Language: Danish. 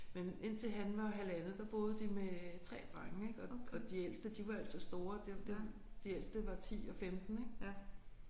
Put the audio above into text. Men indtil han var halvandet der boede de med 3 drenge ik og og de ældste de var altså store det det de ældste var 10 og 15 ik